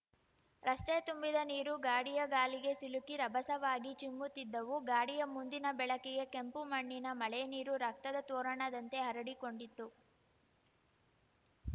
ರಸ್ತೆ ತುಂಬಿದ ನೀರು ಗಾಡಿಯ ಗಾಲಿಗೆ ಸಿಲುಕಿ ರಭಸವಾಗಿ ಚಿಮ್ಮುತ್ತಿದ್ದವು ಗಾಡಿಯ ಮುಂದಿನ ಬೆಳಕಿಗೆ ಕೆಂಪು ಮಣ್ಣಿನ ಮಳೆನೀರು ರಕ್ತದ ತೋರಣದಂತೆ ಹರಡಿಕೊಂಡಿತ್ತು